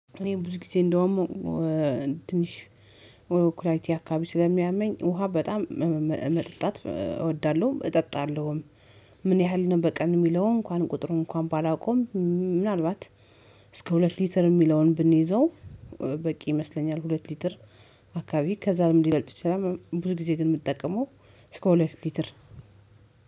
እኔ ብዙ ጊዜ እንደውም ትንሽ ኩላሊቲ አካባቢ ስለሚያመኝ ውሃ በጣም መጠጣት እወዳለሁ እጠጣለሁም። ምን ያህል ነው በቀን የሚለው እንኳን ቁጥሩን እንኳን ባላውቀውም እስከ ሁለት ሊትር የሚለውን ብንይዘው በቂ ይመስለኛል። ሁለት ሊትር አካባቢ ከዛም ለምን ሊበልጥ ይችላል? ብዙ ጊዜ ግን የምጠቀመው እስከ ሁለት ሊትር።